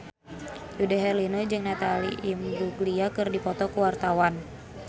Dude Herlino jeung Natalie Imbruglia keur dipoto ku wartawan